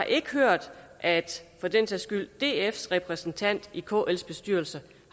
ikke har hørt at dfs repræsentant i kls bestyrelse